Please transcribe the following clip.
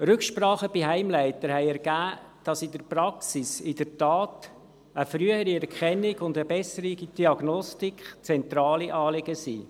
Rücksprachen mit Heimleiter haben ergeben, dass in der Praxis in der Tat eine frühere Erkennung und eine bessere Diagnostik zentrale Anliegen sind.